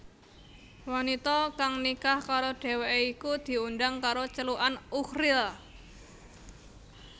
Wanita kang nikah karo dheweké iku diundhang karo celukan Uchril